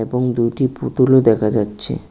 এবং দুইটি পুতুলও দেখা যাচ্ছে।